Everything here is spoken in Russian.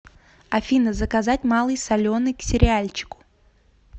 афина заказать малый соленый к сериальчику